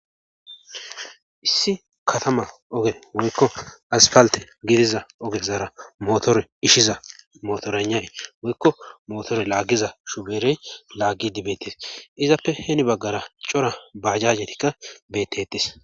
Issi katama oge woykko aspalte gidiza ogezaara mootore ishiza mootoranay woykko mootore laaggiza shuberey laaggi dibetes izappe heni baggara cora baajajetikka beetetes.